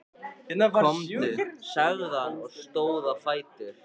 Komdu, sagði hann og stóð á fætur.